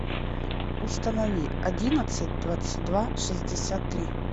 установи одиннадцать двадцать два шестьдесят три